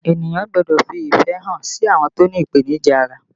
Ènìyàn gbọ́dọ̀ fi ìfẹ́ hàn sí àwọn tó ní ipenija ara